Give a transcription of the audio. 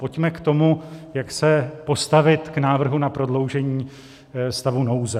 Pojďme k tomu, jak se postavit k návrhu na prodloužení stavu nouze.